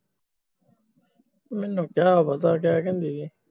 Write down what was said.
ਮੈਨੂੰ ਕਿਹਾ ਉਦੋ ਕਹਿ ਕੇ ਵੀ ਗਈ